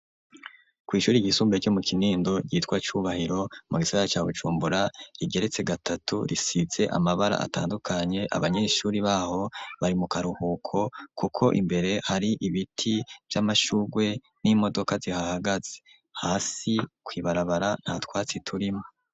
Kw'ishuri ryisumbure ryo mu kinindo ryiwa cubahiro mu gisara ca Bujumbura rigeretse gatatu risize amabara atandukanye abanyeshuri baho bari mu karuhuko kuko imbere hari ibiti vy'amashugwe n'imodoka zihahagaze hasi kwibarabara nta twatsi turimwo.